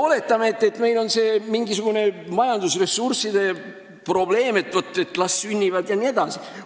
Oletame, et meil on majandusressurssidega mingisugune probleem, las lapsed sünnivad jne.